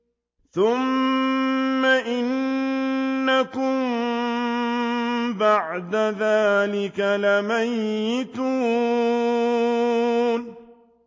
ثُمَّ إِنَّكُم بَعْدَ ذَٰلِكَ لَمَيِّتُونَ